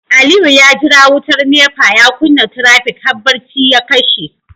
Aliyu ya jira wutar NEPA ya kunna trafic har bacci ya kashe